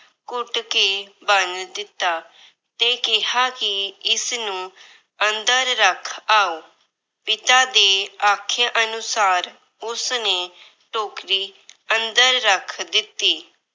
ਘੁੱਟ ਕੇ ਬੰਨ ਦਿੱਤਾ ਤੇ ਕਿਹਾ ਕਿ ਇਸਨੂੰ ਅੰਦਰ ਰੱਖ ਆਓ। ਪਿਤਾ ਦੇ ਆਖੇ ਅਨੁਸਾਰ ਉਸਨੇ ਟੋਕਰੀ ਅੰਦਰ ਰੱਖ ਦਿੱਤੀ।